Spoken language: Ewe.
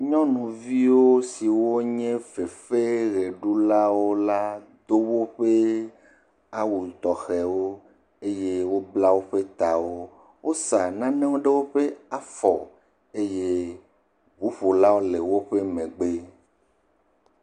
nyɔnuviwo siwo nye fefeɣeɖulawo la do woƒe awu tɔxɛwo bla woƒe tawo wosa nanewo ɖe woƒe afɔ eye ʋuƒolawo le woƒe megbe